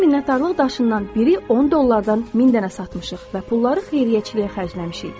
Biz minnətdarlıq daşından biri 10 dollardan 1000 dənə satmışıq və pulları xeyriyyəçiliyə xərcləmişik.